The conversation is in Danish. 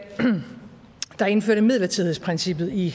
der indførte midlertidighedsprincippet i